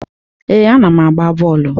Ee, ana m agba bọọlụ.